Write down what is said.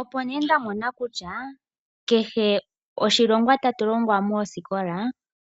Opo nee nda mona kutya kehe oshilongwa tatu longwa moosikola